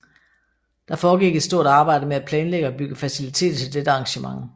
Der foregik et stort arbejde med at planlægge og bygge faciliteter til dette arrangement